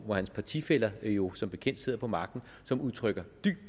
hvor hans partifæller jo som bekendt sidder på magten som udtrykker dyb